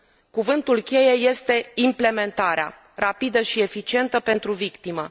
Cuvântul cheie este implementarea rapidă și eficientă pentru victimă.